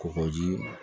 Kɔgɔji